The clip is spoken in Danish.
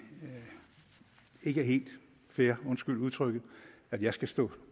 ikke er helt fair undskyld udtrykket at jeg skal stå